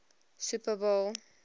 super bowl